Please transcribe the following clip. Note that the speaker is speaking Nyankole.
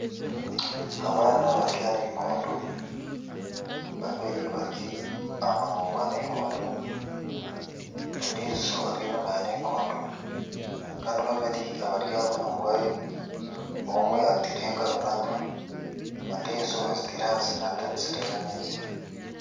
Abaana bari aha nayikondo babiri bari aha munwa gwa nayikondo ondiijo ari enyima ya nayikondo kandi babiri abari aha munwa gwayo, omwe atireho engaro nanwa, ondiijo aziteire ahansi natangisiriza amaizi.